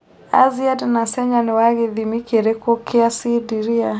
azziad nasenya nĩ wa gĩthĩmĩ kĩrĩkũ kia cindiria